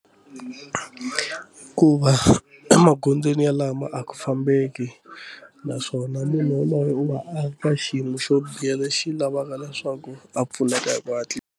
Ku va emagondzweni yalama a ku fambeki naswona munhu yaloye u va a ka xiyimo xo biha lexi lavaka na swaku a pfuneka hi ku hatlisa.